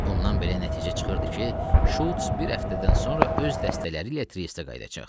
Bundan belə nəticə çıxırdı ki, Şulc bir həftədən sonra öz dəstələri ilə triestə qayıdacaq.